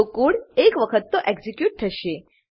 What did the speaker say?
તો કોડ એક વખત તો એક્ઝીક્યુટ થશે